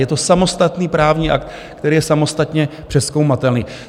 Je to samostatný právní akt, který je samostatně přezkoumatelný.